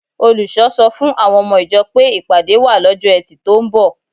Olùṣọ́ sọ fún àwọn ọmọ ìjọ pé ìpàdé wà lọ́jọ́ Ẹtì tó ń bọ̀